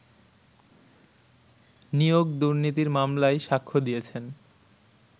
নিয়োগ দুর্নীতির মামলায় সাক্ষ্য দিয়েছেন